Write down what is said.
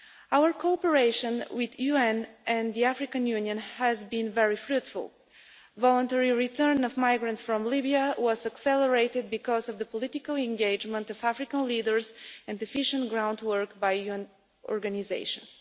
Our cooperation with the UN and the African Union has been very fruitful. Voluntary return of migrants from Libya was accelerated because of political engagement by African leaders and efficient groundwork by UN organisations.